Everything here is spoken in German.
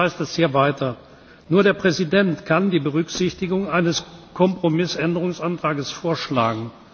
Jetzt heißt es hier weiter Nur der Präsident kann die Berücksichtigung eines Kompromissänderungsantrags vorschlagen.